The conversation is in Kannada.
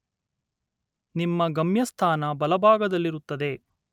ನಿಮ್ಮ ಗಮ್ಯಸ್ಥಾನ ಬಲಭಾಗದಲ್ಲಿರುತ್ತದೆ.